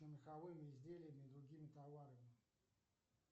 меховыми изделиями и другими товарами